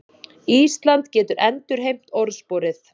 Ísland getur endurheimt orðsporið